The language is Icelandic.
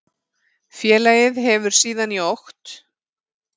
Félagið hefur síðan í okt